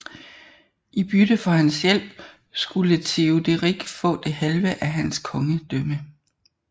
I bytte for hans hjælp skulle Teoderik få det halve af hans kongedømme